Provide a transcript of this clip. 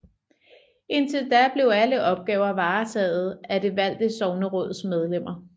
Indtil da blev alle opgaver varetaget af det valgte sogneråds medlemmer